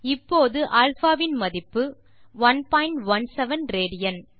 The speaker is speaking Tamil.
இப்போது α இன் மதிப்பு 117 ராட்